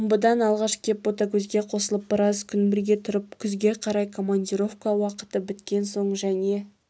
омбыдан алғаш кеп ботагөзге қосылып біраз күн бірге тұрып күзге қарай командировка уақыты біткен соң және